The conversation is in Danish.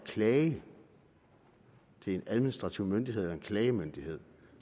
klage til en administrativ myndighed eller en klagemyndighed